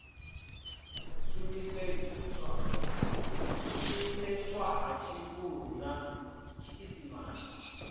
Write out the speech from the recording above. shumiseswa ha tshivhuru na tshiisimane